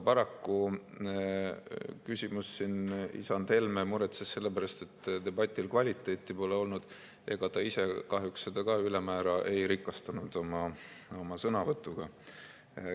Paraku on küsimus, et siin isand Helme muretses selle pärast, et debatil pole kvaliteeti olnud, aga ta ise kahjuks seda ka ülemäära ei rikastanud oma sõnavõtuga.